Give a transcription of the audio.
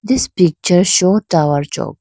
this picture show tower chock .